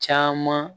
Caman